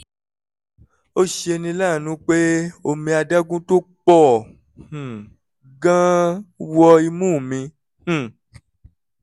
ó ṣeni láàánú pé omi adágún tó pọ̀ um gan-an wọ imú mi um